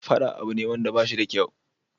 Faɗa abu ne da bashi da kyau